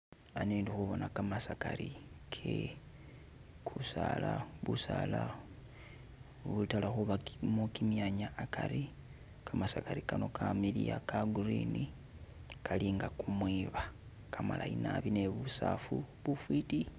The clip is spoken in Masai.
Ano ndi khubona kamasakari ke busala u'butala khubakamo kimyanya akari, kamasakari kano kamiliya ka green kali nga kumwiba kamalayi naabi ne busafu bufwiti.